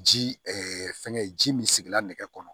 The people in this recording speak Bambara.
Ji fɛngɛ ji min sigira nɛgɛ kɔnɔ